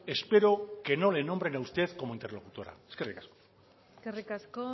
espero que no le nombren a usted como interlocutora eskerrik asko eskerrik asko